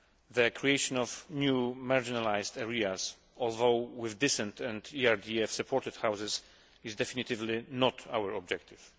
The creation of new marginalised areas, although with decent and ERDF supported houses, is definitively not our objective.